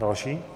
Další.